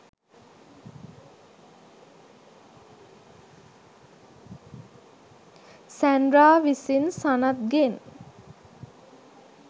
Sandra විසින් සනත්ගෙන්